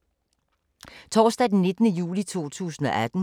Torsdag d. 19. juli 2018